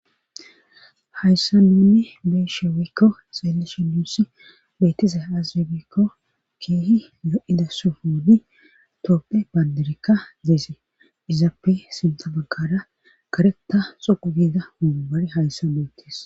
Hayssa ninne beshewikko saelleshe nuussi beetize azirebekko keehi yo'ida sofodi tooppe banderekka zeeze izaappe sinta baggara kareta xuqu giza humbare hayssa beetis